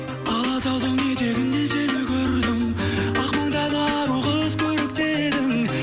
алатаудың етегінде сені көрдім ақ маңдайлы ару қыз көрікті едің